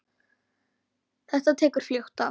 Þetta tekur fljótt af.